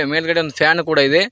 ಮೇಲ್ಗಡೆ ಒಂದು ಫ್ಯಾನು ಕೂಡ ಇದೆ.